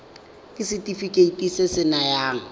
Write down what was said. ke setefikeiti se se nayang